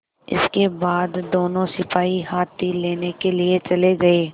इसके बाद दोनों सिपाही हाथी लेने के लिए चले गए